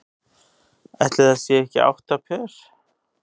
Ætli það séu ekki átta pör.